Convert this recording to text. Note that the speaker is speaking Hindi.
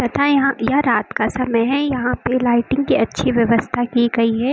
यहां रात का समय है यहां पे लाइटिंग की अच्छी व्यवस्था की गई हैं।